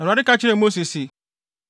Awurade ka kyerɛɛ Mose se,